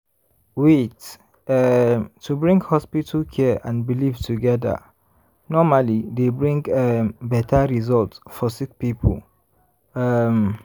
wait- um to bring hospital care and belief togeda normally dey bring um beta result for sick poeple. um